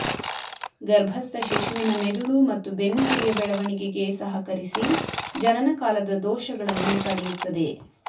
ಗರ್ಭಸ್ಥ ಶಿಶುವಿನ ಮೆದುಳು ಮತ್ತು ಬೆನ್ನುಹುರಿಯ ಬೆಳವಣಿಗೆಗೆ ಸಹಕರಿಸಿ ಜನನ ಕಾಲದ ದೋಷಗಳನ್ನು ತಡೆಯುತ್ತದೆ